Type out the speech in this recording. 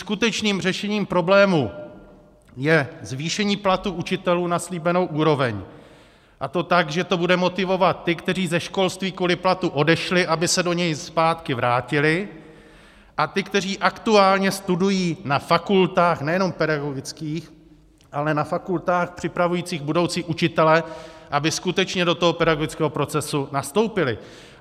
Skutečným řešením problému je zvýšení platů učitelů na slíbenou úroveň, a to tak, že to bude motivovat ty, kteří ze školství kvůli platu odešli, aby se do něj zpátky vrátili, a ty, kteří aktuálně studují na fakultách nejenom pedagogických, ale na fakultách připravujících budoucí učitele, aby skutečně do toho pedagogického procesu nastoupili.